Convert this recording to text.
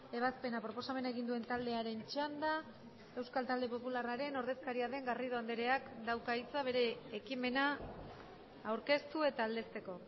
ebazpena proposamena egin duen taldearen txanda euskal talde popularraren ordezkaria den garrido andreak dauka hitza bere ekimena aurkeztu eta aldezteko